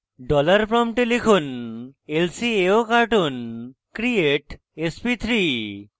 dollar প্রম্পটে লিখুন lcaocartoon create sp3